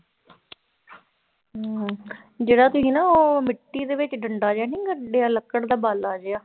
ਹਮ ਜਿਹੜਾ ਤੁਸੀਂ ਨਾ ਉਹ ਮਿੱਟੀ ਦੇ ਵਿੱਚ ਡੰਡਾ ਜਿਹਾ ਨੀ ਗੱਡਿਆ ਲੱਕੜ ਦਾ ਬਾਲਾ ਜਿਹਾ,